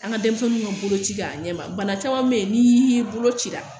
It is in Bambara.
An ka denmisɛnninw ka boloci k'a ɲɛma bana caman bɛ yen n'i y'i ye boloci la